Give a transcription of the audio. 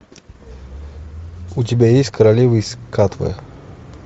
у тебя есть королева из катве